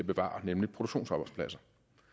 bevare nemlig produktionsarbejdspladser